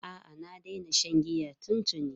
A'a, na daina shan giya tuntuni.